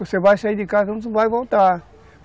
Você vai sair de casa, você não vai voltar.